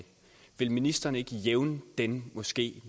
vil ministeren ikke jævne den moské